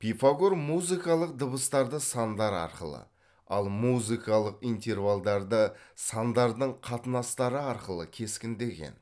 пифагор музыкалық дабыстарды сандар арқылы ал музыкалық интервалдарды сандардың қатынастары арқылы кескіндеген